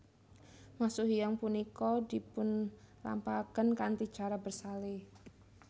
Masuk hiyang punika dipun lampahaken kanthi cara bersale